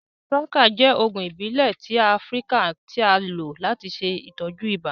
Shuwaka jẹ oogun ibile ti Afirika ti a lo lati ṣe itọju ibà.